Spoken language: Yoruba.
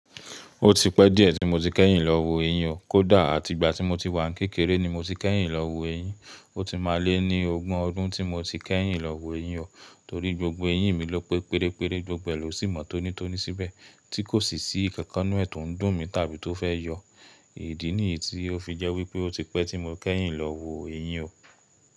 Ó ti pẹ́ díẹ̀ tí mo ti kẹ́yìn lọ wo ẹyín o. Kódà àti ìgbà tí mo ti wà ní kékeré ni mo ti kẹ́yìn lọ wo ẹyín. Ó ti máa lé ní ọgbọ̀n ọdún tí mo ti kẹ́yìn lọ wo ẹyín o. Torí gbogbo eyín mi ló pé pérére, gbogbo ẹ̀ ló sì mọ tonítoní síbẹ̀, tí kò sì ṣìkankan nú ẹ̀ ton dùn mi tàbí tó fẹ́ yọ. Idií ni èyí tí ó fi jẹ́ wípé ó ti pẹ́ tí mo kẹ́yìn lọ wo ẹyín o.